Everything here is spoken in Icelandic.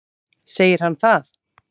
Segir hann það?